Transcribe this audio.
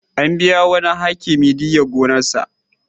An biya wani Hakimi diyyar gonarsa.